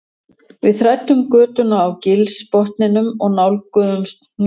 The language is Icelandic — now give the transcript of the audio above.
Við þræddum götuna á gilsbotninum og nálguðumst hnúkinn